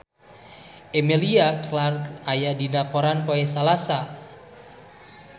Emilia Clarke aya dina koran poe Salasa